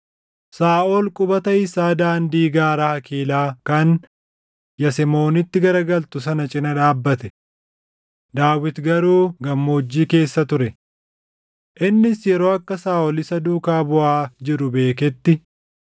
Saaʼol qubata isaa daandii gaara Hakiilaa kan Yasemoonitti garagalu sana cina dhaabbate; Daawit garuu gammoojjii keessa ture. Innis yeroo akka Saaʼol isa duukaa buʼaa jiru beeketti,